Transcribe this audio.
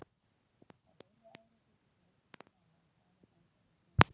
Á heilu ári hlýtur þú einhvern tíma að hafa farið þangað í snjó.